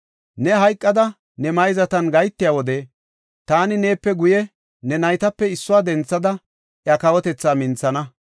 Ne hayqada ne mayzatan gahetiya wode taani neepe guye ne naytape issuwa denthada iya kawotethaa minthana.